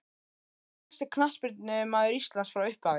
Hver besti knattspyrnumaður Íslands frá upphafi?